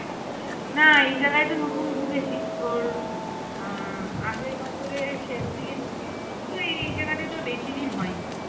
না এই জায়গায় তো নতুন ঢুকেছি তোর আহ আগের বছরের শেষ দিকে ঢুকলাম তো এই জায়গাটা তো বেশি দিন হয় নি